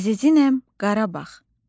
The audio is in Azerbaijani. Əziziməm Qarabağ.